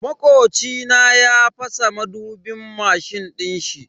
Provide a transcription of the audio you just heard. Makoci na ya fasa madubin mashin dinshi.